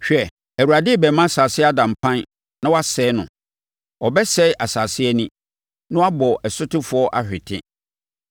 Hwɛ, Awurade rebɛma asase ada mpan na wasɛe no; ɔbɛsɛe asase ani na wabɔ ɛsotefoɔ ahwete,